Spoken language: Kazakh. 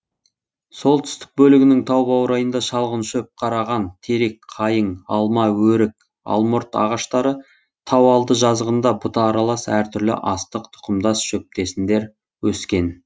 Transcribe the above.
солтүстік бөлігінің тау баурайында шалғын шөп қараған терек қайың алма өрік алмұрт ағаштары тауалды жазығында бұта аралас әр түрлі астық тұқымдас шөптесіндер өскен